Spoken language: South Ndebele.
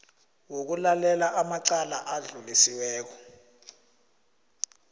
wokulalela amacala adlulisiweko